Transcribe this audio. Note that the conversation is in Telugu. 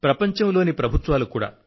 ప్రపంచంలోని ప్రభుత్వాలు కూడా